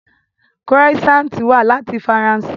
Croissant wá láti Faransé